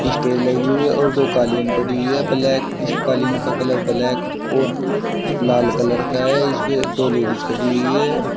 Stage लगी हुई है और दो कालीन पड़ी हुई है ब्लैक इस कालीन का कलर ब्लैक और लाल कलर का है इसपे दो लेडीज खड़ी हुई है।